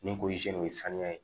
Nin ko nin ye sanuya ye